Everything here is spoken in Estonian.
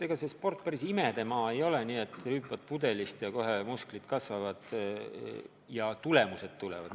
Ega see sport päris imedemaa ei ole, nii et rüüpad pudelist, ja kohe musklid kasvavad ja tulemused tulevad.